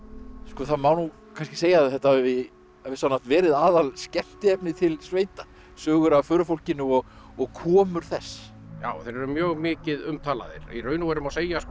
það má kannski segja að þetta hafi á vissan hátt verið aðal skemmtiefnið til sveita sögur af förufólkinu og komur þess já þeir eru mjög mikið umtalaðir í raun og veru má segja sko